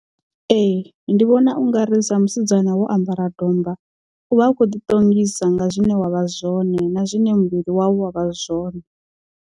Ee ndi vhona ungari sa musidzana wo ambara domba uvha u kho ḓi ṱongisa nga zwine wavha zwone na zwine muvhili wau wavha zwone.